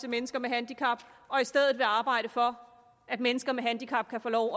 mennesker med handicap og i stedet vil arbejde for at mennesker med handicap kan få lov